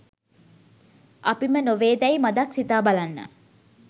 අපිම නොවේදැයි මදක් සිතා බලන්න